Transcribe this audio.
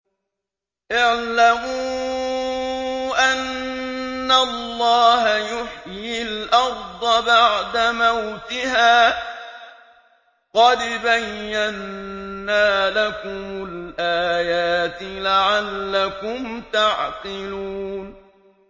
اعْلَمُوا أَنَّ اللَّهَ يُحْيِي الْأَرْضَ بَعْدَ مَوْتِهَا ۚ قَدْ بَيَّنَّا لَكُمُ الْآيَاتِ لَعَلَّكُمْ تَعْقِلُونَ